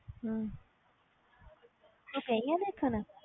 ਹਮ ਤੂੰ ਗਈ ਹੈ ਦੇਖਣ